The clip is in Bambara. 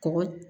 Kɔgɔ